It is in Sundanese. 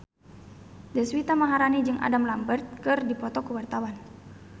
Deswita Maharani jeung Adam Lambert keur dipoto ku wartawan